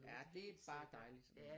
Ja det er bare dejligt